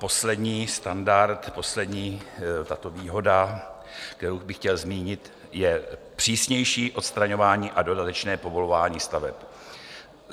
Poslední standard, poslední tato výhoda, kterou bych chtěl zmínit, je přísnější odstraňování a dodatečné povolování staveb.